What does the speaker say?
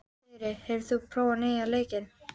Þyri, hefur þú prófað nýja leikinn?